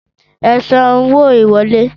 Ẹ san owó ìwọlé!